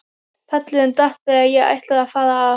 Pallurinn datt þegar ég ætlaði að fara að.